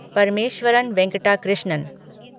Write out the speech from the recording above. Parameswaran Venkat Krishnan